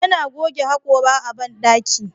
Yana goge hakora a bandaki.